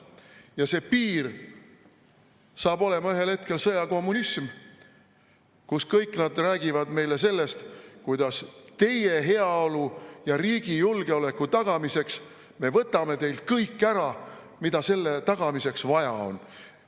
Ja see piir saab olema ühel hetkel sõjakommunism, kui nad kõik räägivad meile sellest, kuidas teie heaolu ja riigi julgeoleku tagamiseks me võtame teilt kõik ära, mida selle tagamiseks vaja on.